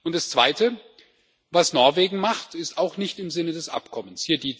Das Zweite Was Norwegen macht, ist auch nicht im Sinn des Abkommens.